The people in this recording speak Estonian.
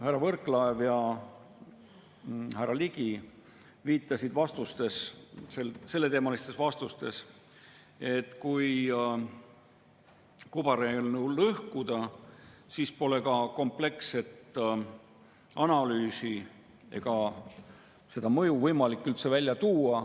Härra Võrklaev ja härra Ligi viitasid selleteemalistes vastustes, et kui kobareelnõu lõhkuda, siis pole ka kompleksset analüüsi ega seda mõju üldse võimalik välja tuua.